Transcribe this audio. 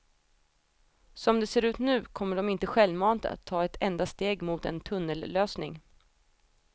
Som det ser ut nu kommer de inte självmant att ta ett enda steg mot en tunnellösning.